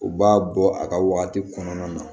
U b'a bɔ a ka wagati kɔnɔna na